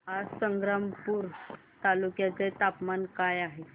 आज संग्रामपूर तालुक्या चे तापमान काय आहे